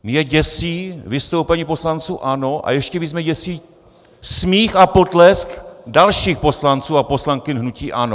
Mě děsí vystoupení poslanců ANO a ještě víc mě děsí smích a potlesk dalších poslanců a poslankyň hnutí ANO.